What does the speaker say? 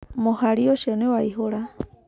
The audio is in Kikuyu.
Mũhari ũcio niwaihũraa.